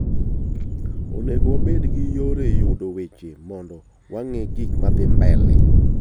Onego wabed gi yore yudo weche mondo wang'ee gikmadhii mbele.